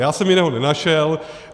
Já jsem jiného nenašel.